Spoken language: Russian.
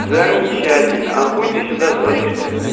замечательно а хуй ты сюда звонишь тогда